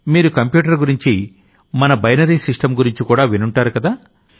మీరు కంప్యూటర్ గురించి మన బైనరీ సిస్టమ్ గురించి కూడా వినుంటారుకదా